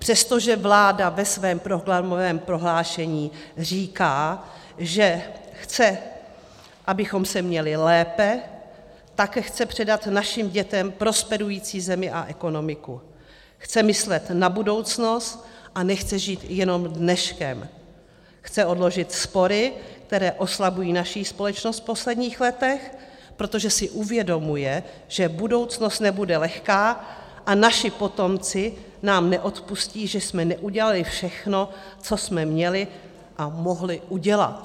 Přestože vláda ve svém programovém prohlášení říká, že chce, abychom se měli lépe, také chce předat našim dětem prosperující zemi a ekonomiku, chce myslet na budoucnost a nechce žít jenom dneškem, chce odložit spory, které oslabují naši společnost v posledních letech, protože si uvědomuje, že budoucnost nebude lehká a naši potomci nám neodpustí, že jsme neudělali všechno, co jsme měli a mohli udělat.